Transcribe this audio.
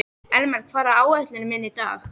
Elmar, hvað er á áætluninni minni í dag?